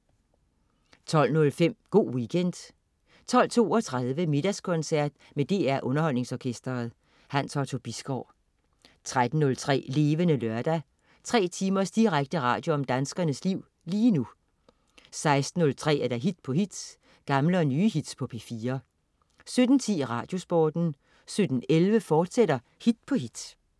12.15 Go' Weekend 12.32 Middagskoncert med DR Underholdningsorkestret. Hans Otto Bisgaard 13.03 Levende Lørdag. Tre timers direkte radio om danskernes liv lige nu 16.03 Hit på hit. Gamle og nye hits på P4 17.10 Radiosporten 17.11 Hit på hit, fortsat